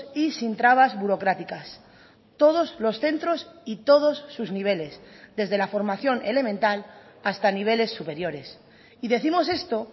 y sin trabas burocráticas todos los centros y todos sus niveles desde la formación elemental hasta niveles superiores y décimos esto